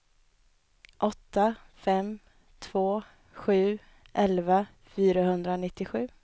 åtta fem två sju elva fyrahundranittiosju